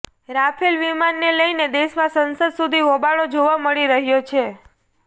Rafale વિમાનને લઈને દેશમાં સંસદ સુધી હોબાળો જોવા મળી રહ્યો છે